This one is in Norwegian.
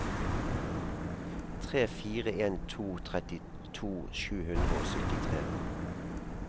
tre fire en to trettito sju hundre og syttitre